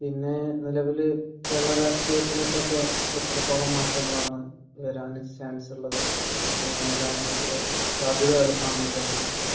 പിന്നെ നിലവിൽ കേരളരാഷ്ട്രീയത്തിൽ ഒക്കെ ഇപ്പോൾ എത്രത്തോളം മാറ്റങ്ങളാണ് വരാൻ ചാൻസ് ഉള്ളത്. അങ്ങനെ വരാനായിട്ട് അത് കാണുന്നത് എങ്ങനെയൊക്കെയാണ്?